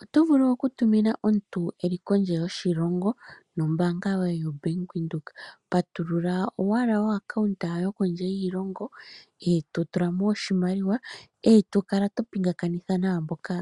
Oto vulu oku tumina omuntu eli kondje yoshilongo nombaanga yoye yaVenduka. Patulula owala okaunta yo kondje yiilongo e to tula mo oshimaliwa, e to kala to pingakanitha naamboka